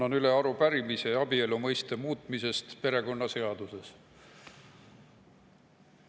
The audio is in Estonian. Annan üle arupärimise abielu mõiste muutmise kohta perekonnaseaduses.